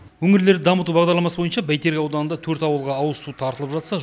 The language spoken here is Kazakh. өңірлерді дамыту бағдарламасы бойынша бәйтерек ауданында төрт ауылға ауызсу тартылып жатса